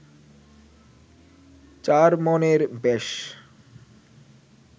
চার মনের বেশ